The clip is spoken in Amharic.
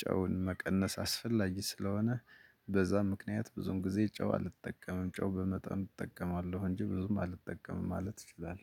ጨውን መቀነስ አስፈላጊ ስለሆነ። በዛ ምክንያት ብዙም ጊዜ ጨው አልጠቀምም ጨው በመጠን እጠቀማለሁ እንጂ ብዙም አልጠቀምም ማለት ይችላል